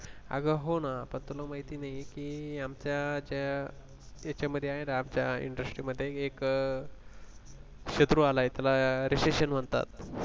अग हो ना पण तुला माहिती नाहीये की ते आमच्या त्या त्याच्यामध्ये आहे ना आमच्या industry मध्ये एक अ शत्रू आला आहे त्याला recession म्हणतात